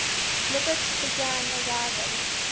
lubitsch began arriving